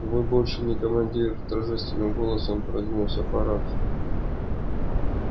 вы больше не командир торжественным голосом произнёс апорат